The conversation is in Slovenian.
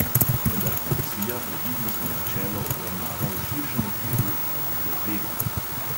Vendar komisija previdnostno načelo obravnava v širšem okviru analize tveganj.